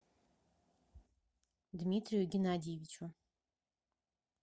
дмитрию геннадьевичу